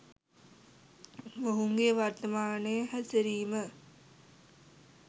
මොහුගේ වර්තමාන හැසිරීම